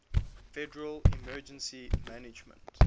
federal emergency management